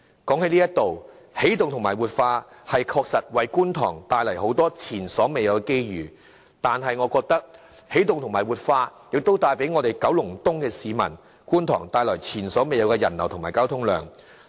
談到起動和活化九龍東，確實為觀塘帶來很多前所未有的機遇，但我認為亦同時為九龍東——觀塘——的市民帶來前所未有的人流和交通量。